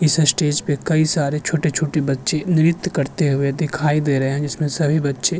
इसे स्टेज पे कई सारे छोटे छोटी बच्ची नृत्य करते हुए दिखाई दे रहे है जिसमें सभी बच्चे --